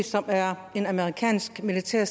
som er en amerikansk militær